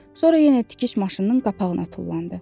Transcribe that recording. Sonra yenə tikiş maşınının qapağına tullandı.